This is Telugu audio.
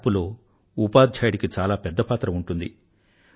మార్పు లో ఉపాధ్యాయుడికి చాలా పెద్ద పాత్ర ఉంటుంది